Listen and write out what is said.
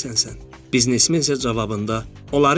Biznesmen isə cavabında, onları idarə eləyirəm.